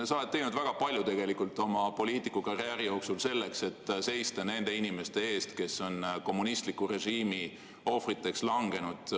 Sa oled teinud väga palju oma poliitikukarjääri jooksul selleks, et seista nende inimeste eest, kes on kommunistliku režiimi ohvriks langenud.